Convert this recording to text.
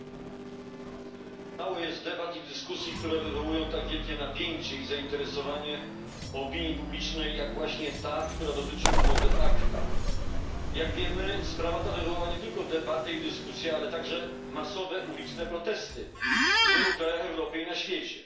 Panie Przewodniczący! Mało jest debat i dyskusji, które wywołują tak wielkie napięcie i zainteresowanie opinii publicznej jak właśnie ta, która dotyczy umowy ACTA. Jak wiemy, sprawa ta wywołała nie tylko debaty i dyskusje, ale także masowe uliczne protesty w wielu krajach Europy i na świecie.